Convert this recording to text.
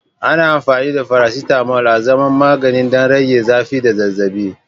Ana amfani da faracetamol azaman magani don rage zafi da zazzabi.